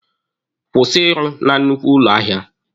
Kwụsị ịrụ na nnukwu ụlọ ahịa!